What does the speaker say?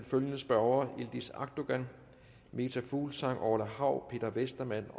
følgende spørgere yildiz akdogan meta fuglsang orla hav peter westermann